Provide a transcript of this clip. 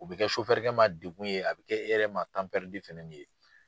U bi kɛ dekun ye, a bi kɛ e yɛrɛ ma ye.